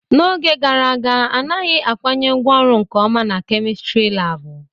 N'oge gara aga anaghị akwanye ngwaọrụ nke ọma na kemịstri laabụ.